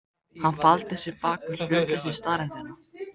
Hann faldi sig bak við hlutleysi staðreyndanna.